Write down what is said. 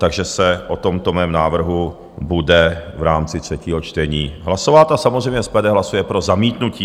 Takže se o tomto mém návrhu bude v rámci třetího čtení hlasovat a samozřejmě SPD hlasuje pro zamítnutí.